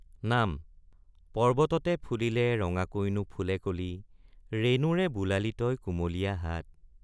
নাম পৰ্ব্বততে ফুলিলে ৰঙানোকৈ ফুলে কলি ৰেণুৰে বোলালি তই কুমলীয়া হাত।